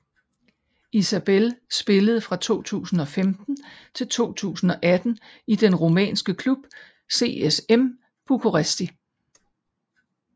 Isabelle spillede fra 2015 til 2018 i den rumænske klub CSM Bucuresti